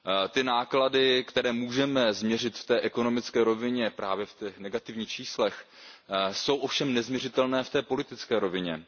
Ty náklady, které můžeme změřit v té ekonomické rovině právě v negativních číslech, jsou ovšem nezměřitelné v té politické rovině.